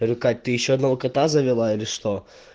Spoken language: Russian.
или кать ты ещё одного кота завела или что